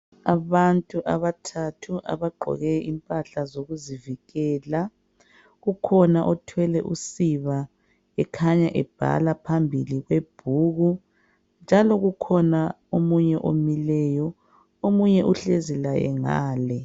Abantu abathathu abagqoke impahla zokuzivikela. Kukhona othwele usiba okhanya ebhala phambili kwebhuku njaalk kukhona umuntu omileyo, omunye uhlezi laye ngale.